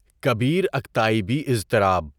کبیر اکتئابی اضطراب